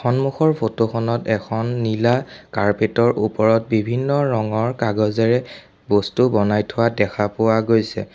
সন্মুখৰ ফটো খনত এখন নীলা কাৰ্পেট ৰ ওপৰত বিভিন্ন ৰঙৰ কাগজেৰে বস্তু বনাই থোৱা দেখা পোৱা গৈছে।